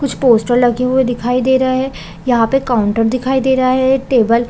कुछ पोस्टर लगे हुई दिखाई दे रहा है यहाँ पे काउंटर दिखाई दे रहा है एक टेबल --